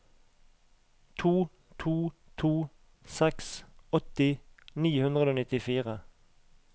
to to to seks åtti ni hundre og nittifire